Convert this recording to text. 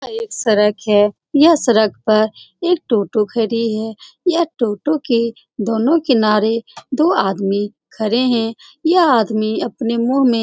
यह एक सड़क है यह सड़क पर एक टोटो खड़ी है यह टोटो के दोनों किनारे दो आदमी खड़े हैं यह आदमी अपने मुह में --